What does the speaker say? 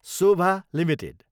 Sobha Ltd